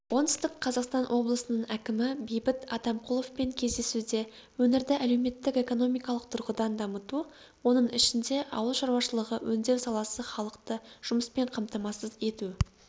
оңтүстік қазақстан облысының әкімі бейбіт атамқұловпен кездесуде өңірді әлеуметтік-экономикалық тұрғыдан дамыту оның ішінде ауыл шаруашылығы өңдеу саласы халықты жұмыспен қамтамасыз ету